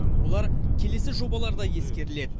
олар келесі жобаларда ескеріледі